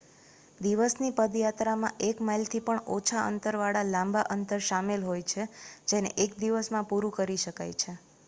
દિવસની પદયાત્રામાં એક માઇલથી પણ ઓછા અંતર વાળા લાંબા અંતર શામેલ હોય છે જેને એક દિવસમાં પુરું કરી શકાય છે